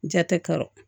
Ja tɛ ka